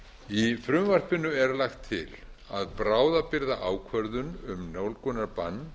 í frumvarpinu er lagt til að bráðabirgðaákvörðun um nálgunarbann